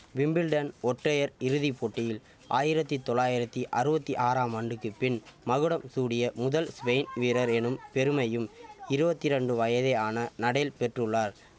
Wimbledon ஒற்றையர் இறுதி போட்டியில் ஆயிரத்தி தொளாயிரத்தி அறுவத்தி ஆறாம் ஆண்டுக்கு பின் மகுடம் சூடிய முதல் ஸ்பெயின் வீரர் எனும் பெருமையும் இருவத்தி ரெண்டு வயதே ஆன நடேல் பெற்றுள்ளார்